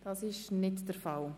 – Das ist nicht der Fall.